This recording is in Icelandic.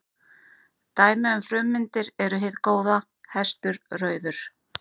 Dæmi um frummyndir eru hið góða, hestur, rauður.